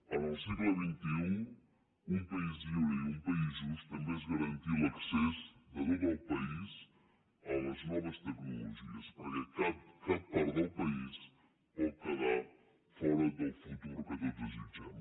en el segle un país lliure i un país just també és garantir l’accés de tot el país a les noves tecnologies perquè cap part del país pot quedar fora del futur que tots desitgem